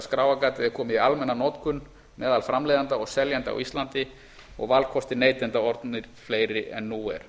skráargatið er komið í almenna notkun meðal framleiðenda og seljenda á íslandi og valkostir neytenda orðnir fleiri en nú er